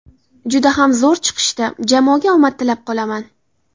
Juda ham zo‘r chiqishdi, jamoaga omad tilab qolaman.